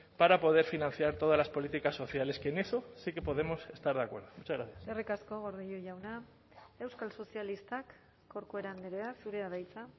para poder financiar todas las políticas sociales que en eso sí que podemos estar de acuerdo muchas gracias eskerrik asko gordillo jauna euskal sozialistak corcuera andrea zurea da hitza